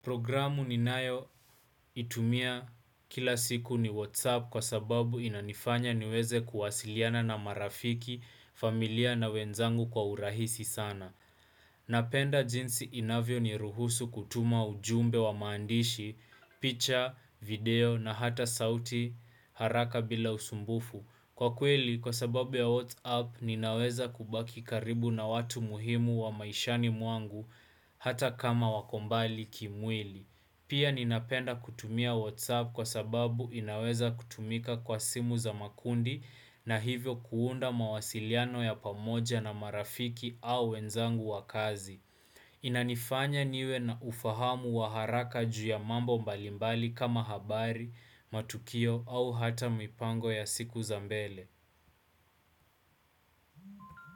Programu ninayoitumia kila siku ni WhatsApp kwa sababu inanifanya niweze kuwasiliana na marafiki, familia na wenzangu kwa urahisi sana. Napenda jinsi inavyo ni ruhusu kutuma ujumbe wa maandishi, picha, video na hata sauti haraka bila usumbufu. Kwa kweli kwa sababu ya WhatsApp ninaweza kubaki karibu na watu muhimu wa maishani mwangu hata kama wako mbali kimwili. Pia ninapenda kutumia WhatsApp kwa sababu inaweza kutumika kwa simu za makundi na hivyo kuunda mawasiliano ya pamoja na marafiki au wenzangu wa kazi. Inanifanya niwe na ufahamu wa haraka juu ya mambo mbalimbali kama habari, matukio au hata mipango ya siku za mbele.